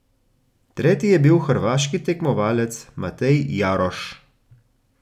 Tretji je bil hrvaški tekmovalec Matej Jaroš.